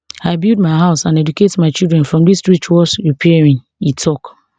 i build my house and educate my children from dis wristwatch repairing e tok